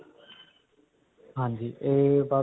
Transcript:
ਹਾਂਜੀ ਇਹ ਬਸ.